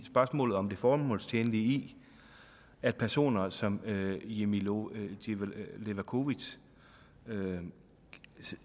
spørgsmålet om det formålstjenlige i at personer som jimmi levakovic sådan